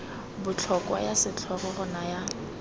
botlhokwa ya setlhogo go naya